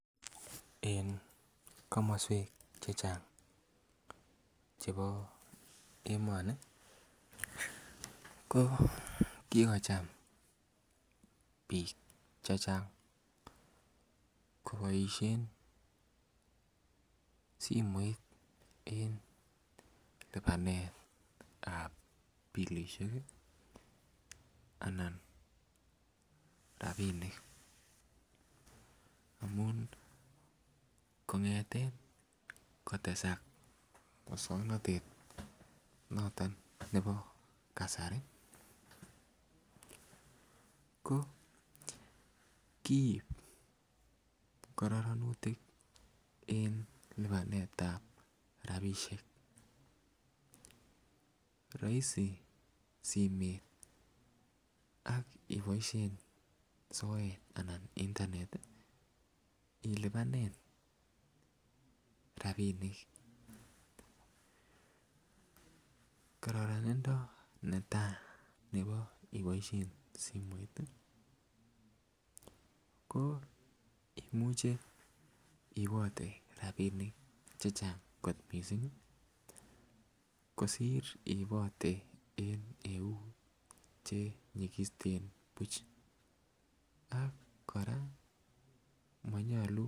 En komoswek chechang chebo emoni ko kikocham biik chechang koboisien simoit en lipanet ab bilisiek ih anan rapinik amun kong'eten kotesak muswongnotet noton nebo kasari ko kiib kororonutik en konoretab rapisiek roisi simet ak iboisien soet anan internet ilipanen rapinik kororonindo netaa nebo iboisien simoit ih ko imuche iibote rapinik chechang kot missing ih kosir iibote en eut chenyigisten buch ak kora monyolu